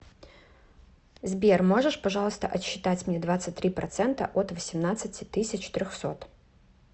сбер можешь пожалуйста отсчитать мне двадцать три процента от восемнадцати тысяч трехсот